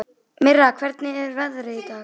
Mirra, hvernig er veðrið í dag?